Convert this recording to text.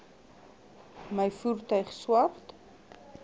my voertuig swart